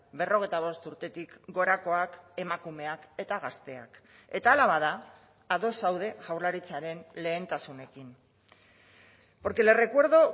berrogeita bost urtetik gorakoak emakumeak eta gazteak eta hala bada ados zaude jaurlaritzaren lehentasunekin porque le recuerdo